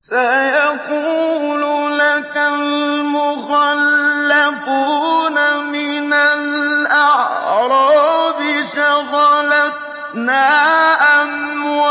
سَيَقُولُ لَكَ الْمُخَلَّفُونَ مِنَ الْأَعْرَابِ شَغَلَتْنَا أَمْوَالُنَا